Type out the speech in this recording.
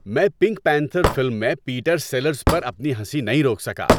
میں Pink Panther film میں Peter Sellers پر اپنی ہنسی نہیں روک سکا۔